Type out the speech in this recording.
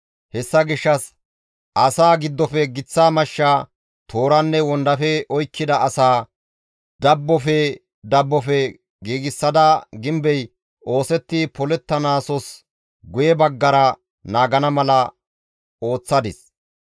Hessa gishshas asaa giddofe giththa mashsha, tooranne wondafe oykkida asaa, dabbofe dabbofe giigsada gimbey oosetti polettonttaasos guye baggara naagana mala ooththadis.